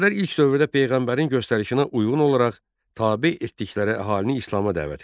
Ərəblər ilk dövrdə peyğəmbərin göstərişinə uyğun olaraq tabe etdikləri əhalini İslama dəvət edir.